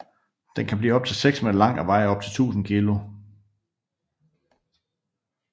Den kan blive op til 6 m lang og veje op til 1000 kg